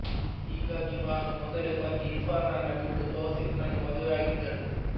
ಹೀಗಾಗಿ ಭಾನು ಮೊದಲನೇ ಪತಿ ಇರ್ಫಾನ್ನನ್ನ ಬಿಟ್ಟು ತೌಸಿಫ್ನನ್ನು ಮದುವೆ ಆಗಿದ್ದಳು